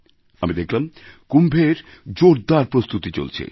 আমি দেখলাম কুম্ভের জোরদার প্রস্তুতি চলছে